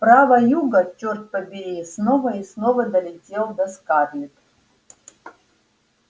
права юга чёрт побери снова и снова долетал до скарлетт